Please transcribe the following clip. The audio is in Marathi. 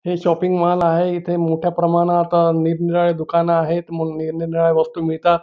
हे शॉपिंग मॉल आहे इथे मोठ्या प्रमाणात निरनिराळी दुकान आहेत मग निरनिराळे वस्तू मिळतात.